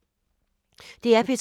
DR P2